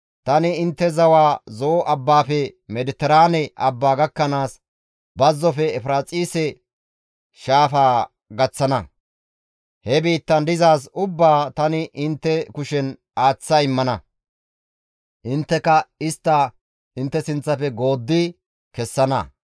Tani intte zawaa Zo7o abbaafe Mediteraane abbaa gakkanaas, bazzofe Efiraaxise shaafaa gaththana. He biittan dizaaz ubbaa tani intte kushen aaththa immana; intteka istta intte sinththafe gooddi kessana.